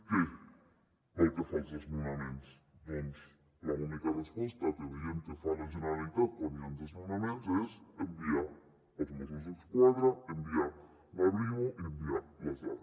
què pel que fa als desnonaments doncs l’única resposta que veiem que fa la generalitat quan hi han desnonaments és enviar els mossos d’esquadra enviar la brimo i enviar l’arro